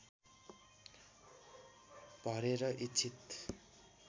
भरेर इच्छित